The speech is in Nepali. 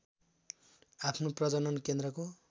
आफ्नो प्रजनन केन्द्रको